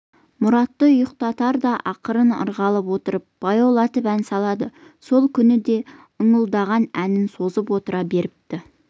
мұратты ұйықтатарда ақырын ырғалып отырып баяулатып ән салады сол күні де ыңылдаған әнін созып отыра беріпті